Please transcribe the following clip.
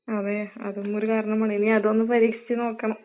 അതെ, അതും ഒരു കാരണമാണ്. ഇനി അതൊന്ന് പരീക്ഷിച്ച് നോക്കണം.